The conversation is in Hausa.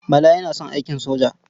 Bala yana son aikin soja.